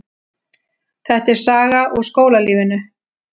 Þetta er saga úr skólalífinu.